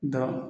Dɔ